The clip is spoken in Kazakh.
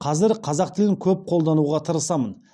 қазір қазақ тілін көп қолдануға тырысамын